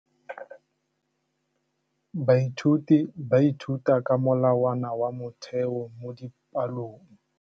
Baithuti ba ithuta ka molawana wa motheo mo dipalong.